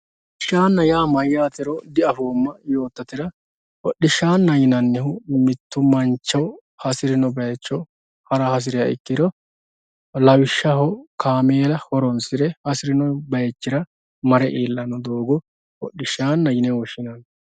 hodhishaana yaa mayaatero diafoomo yottohura hodhishaana yinannihu mitto mancho hasirino baayiicho hara hasiriya ikkiro lawishshaho kaameela horonsire hasirino bayiichira mare iillanno doogo hodhishaana yine woshshinanni